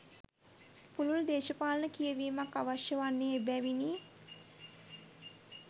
පුළුල් දේශපාලන කියවීමක් අවශ්‍ය වන්නේ එබැවිනි